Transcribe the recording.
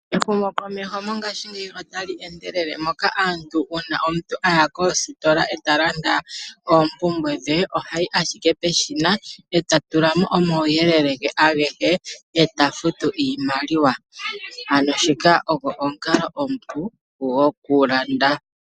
Ehumokomeho mongashingeyi otali endelele moka aantu uuna omuntu a yaka ostola e ta landa oompumbwe dhe, ohayi ashike peshina e ta tulamo omawuyelele ge agehe e ta futu iimaliwa, ano shika ogo omukalo omupu goku landa.